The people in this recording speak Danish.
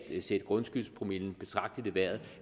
sætte grundskyldspromillen betragteligt i vejret